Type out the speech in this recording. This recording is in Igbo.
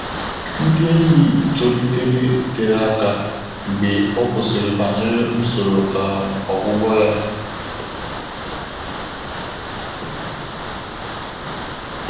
Ndị́ ényì tòlìtèrè térè áká mgbè ọ́ kwùsị́rị̀ bànyèrè ùsòrò um ọ́gwụ́gwọ́ yá.